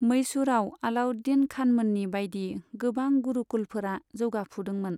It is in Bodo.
मैसुरआव अलाउद्दीन खानमोननि बायदि गोबां गुरुकुलफोरा जौगाफुदोंमोन।